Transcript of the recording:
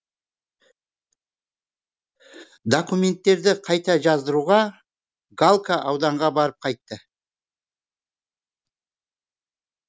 документтерді қайта жаздыруға галка ауданға барып қайтты